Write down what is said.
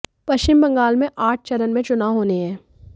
पश्चिम बंगाल में आठ चरण में चुनाव होने हैं